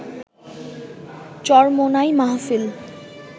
চরমোনাই মাহফিল